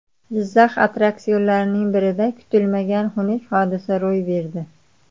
Jizzax attraksionlaridan birida kutilmagan xunuk hodisa ro‘y berdi.